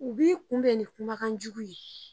U b'i kunbɛn ni kumakan jugu ye.